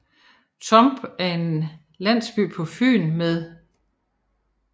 Turup er en landsby på Fyn med